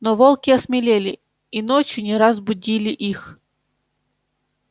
но волки осмелели и ночью не раз будили их